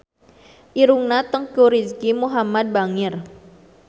Irungna Teuku Rizky Muhammad bangir